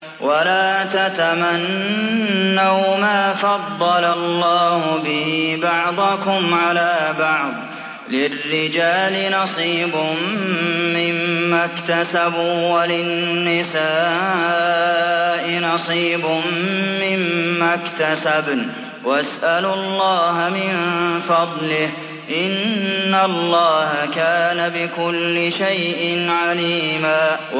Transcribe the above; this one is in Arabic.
وَلَا تَتَمَنَّوْا مَا فَضَّلَ اللَّهُ بِهِ بَعْضَكُمْ عَلَىٰ بَعْضٍ ۚ لِّلرِّجَالِ نَصِيبٌ مِّمَّا اكْتَسَبُوا ۖ وَلِلنِّسَاءِ نَصِيبٌ مِّمَّا اكْتَسَبْنَ ۚ وَاسْأَلُوا اللَّهَ مِن فَضْلِهِ ۗ إِنَّ اللَّهَ كَانَ بِكُلِّ شَيْءٍ عَلِيمًا